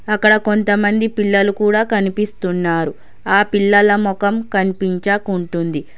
అక్కడ కొంతమంది పిల్లలు కూడ కనిపిస్తున్నారు ఆ పిల్లల మొఖం కన్పించకుంటుంది.